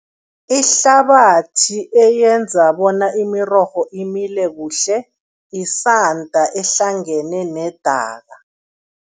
Ihlabathi eyenza bona imirorho imile kuhle, yisanda ehlangene nedaka.